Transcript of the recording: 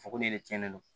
Fɔ ko ne de cɛnnen don